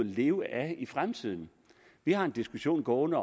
leve af i fremtiden vi har en diskussion gående